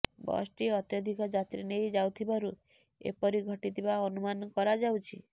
ବସଟି ଅତ୍ୟଧିକ ଯାତ୍ରୀ ନେଇ ଯାଉଥିବାରୁ ଏପରି ଘଟିଥିବା ଅନୁମାନ କରାଯାଉଛି